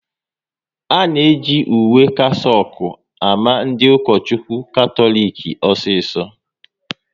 A na-eji uwe kasaouk ama ndị Ukochukwu Katọlik osiso